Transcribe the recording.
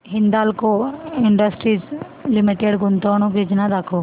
Hindalco industries limited गुंतवणूक योजना दाखव